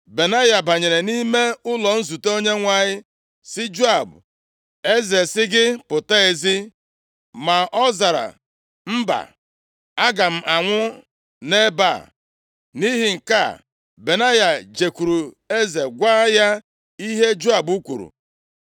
Benaya banyere nʼime ụlọ nzute Onyenwe anyị, sị Joab, “Eze sị gị, ‘pụta ezi!’ ” Ma ọ zara, “Mba, aga m anwụ nʼebe a.” Nʼihi nke a, Benaya jekwuru eze gwa ya ihe Joab kwuru.